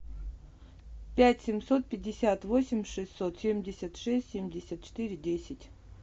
пять семьсот пятьдесят восемь шестьсот семьдесят шесть семьдесят четыре десять